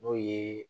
N'o ye